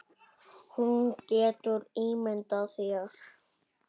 Þú getur ímyndað þér.